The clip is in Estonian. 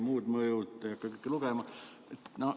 Muud mõjud – neid ei hakkagi lugema.